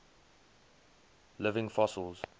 living fossils